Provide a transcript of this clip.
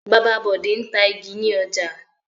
Bàbá Bọ̀dé ń ta igi ní ọjà.